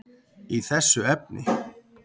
í þessu efni.